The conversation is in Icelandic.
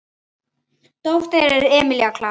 Dóttir þeirra er Emilía Klara.